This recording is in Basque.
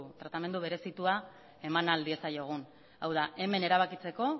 tratamendu berezitua eman ahal diezaiegun hau da hemen erabakitzeko